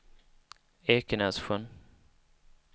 Ekenässjön